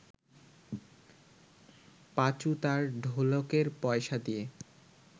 পাঁচু তার ঢোলকের পয়সা দিয়ে